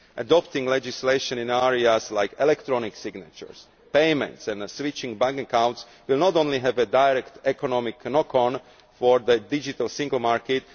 Adopting legislation in areas like electronic signatures, payments and switching bank accounts will not only have a direct economic knock on for the digital single market